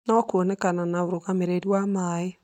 no kuonekana na ũrũgamĩrĩri wa maĩ